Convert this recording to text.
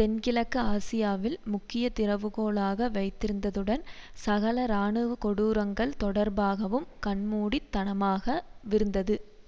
தென்கிழக்கு ஆசியாவில் முக்கிய திறவு கோலாக வைத்திருந்ததுடன் சகல இராணுவ கொடூரங்கள் தொடர்பாகவும் கண்மூடித்தனமாகவிருந்தது